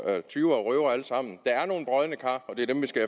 af tyve og røvere der er nogle brodne kar og det er dem vi skal